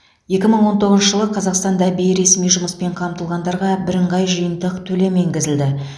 екі мың он тоғызыншы жылы қазақстанда бейресми жұмыспен қамтылғандарға бірыңғай жиынтық төлем енгізілді